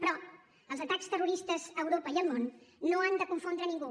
però els atacs terroristes a europa i al món no han de confondre ningú